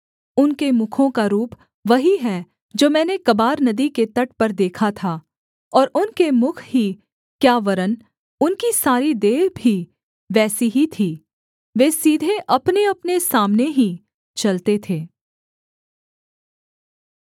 उनके मुखों का रूप वही है जो मैंने कबार नदी के तट पर देखा था और उनके मुख ही क्या वरन् उनकी सारी देह भी वैसी ही थी वे सीधे अपनेअपने सामने ही चलते थे